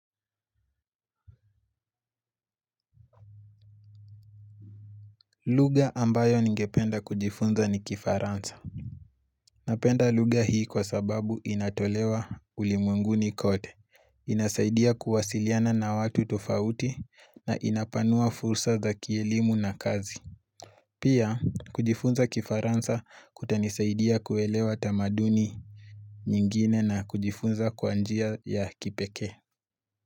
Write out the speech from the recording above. Lugha ambayo ningependa kujifunza ni kifaransa. Napenda lugha hii kwa sababu inatolewa ulimwenguni kote. Inasaidia kuwasiliana na watu tofauti na inapanua fursa za kielimu na kazi. Pia kujifunza kifaransa kutanisaidia kuelewa tamaduni nyingine na kujifunza kwanjia ya kipeke.